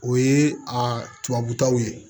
O ye a tubabukaw ye